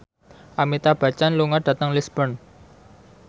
Amitabh Bachchan lunga dhateng Lisburn